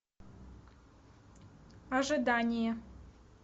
ожидание